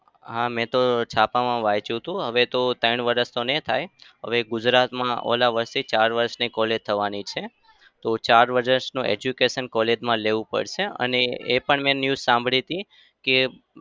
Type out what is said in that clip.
હા મેં તો છાપામાં વાંચ્યું હતું. હવે તો ત્રણ વરસ નઈ થાય. હવે ગુજરાતમાં ઓલા વરસથી ચાર વરસની college થવાની છે. તો ચાર વરસનું education college મા લેવું પડશે. અને એ પણ news સાંભળી હતી કે